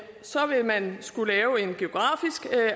så vil man skulle lave en geografisk